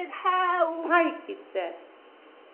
Pajkice!